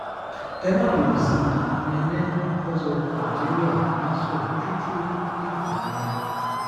ẹ má bínú sí mi nene nkonzo algeria nàṣo chuchu ifunayà